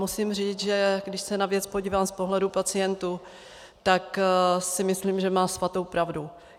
Musím říct, že když se na věc podívám z pohledu pacientů, tak si myslím, že má svatou pravdu.